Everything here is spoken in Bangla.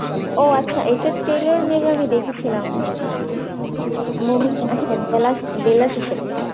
ও আচ্ছা এটার trailer maybe আমি দেখেছিলাম movie বেলাশেষে